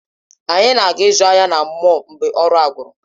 Anyị ga-aga ịzụ ahịa na mọl mgbe ọrụ a gwụrụ